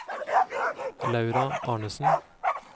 Laura Arnesen